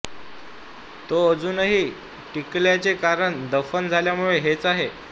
तो अजूनही टिकल्याचे कारण दफन झाल्यामुळे हेच आहे